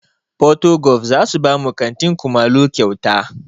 Porto golf zasu bamu katin kumallo kyauta